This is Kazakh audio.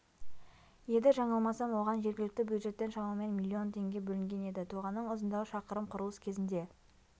еді жаңылмасам оған жергілікті бюджеттен шамамен миллион теңге бөлінген еді тоғанның ұзындығы шақырым құрылыс кезінде